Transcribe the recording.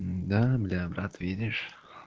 да бля брат видишь